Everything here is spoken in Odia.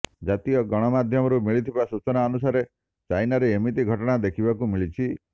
ଜାତୀୟ ଗଣମାଧ୍ୟମରୁ ମିଳିଥିବା ସୂଚନା ଅନୁସାରେ ଚାଇନାରେ ଏମିତି ଘଟଣା ଦେଖିବାକୁ ମିଳିଛି